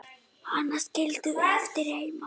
Hana skildum við eftir heima.